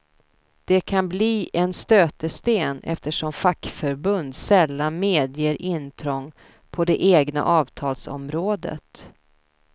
Det kan bli en stötesten eftersom fackförbund sällan medger intrång på det egna avtalsområdet.